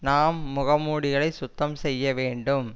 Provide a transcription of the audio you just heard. நாம் முக மூடிகளை சுத்தம் செய்ய வேண்டும்